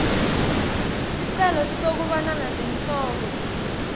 sicelo sekubonana nenhloko